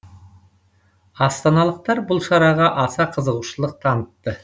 астаналықтар бұл шараға аса қызығушылық танытты